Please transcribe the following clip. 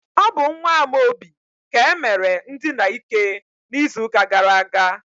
ọ bụ nwa Amaobi ka e mere ndina ike n'izuụka gara aga.